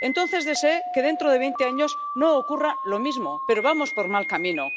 Entonces deseé que dentro de veinte años no ocurriera lo mismo, pero vamos por mal camino.